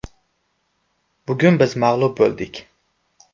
Bugun biz mag‘lub bo‘ldik.